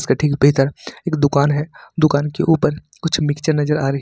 इसके ठीक भीतर एक दुकान है दुकान के ऊपर कुछ मिक्चर नजर आ रही--